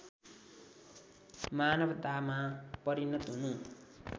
मानवतामा परिणत हुनु